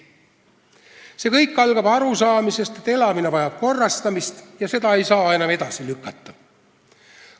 See kõik algab arusaamast, et elamine vajab korrastamist ja seda ei saa enam edasi lükata.